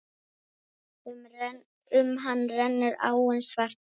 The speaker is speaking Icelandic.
Um hann rennur áin Svartá.